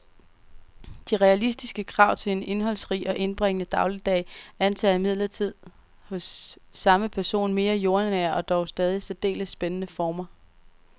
De realistiske krav til en indholdsrig og indbringende dagligdag antager imidlertid hos samme person mere jordnære og dog stadig særdeles spændende former.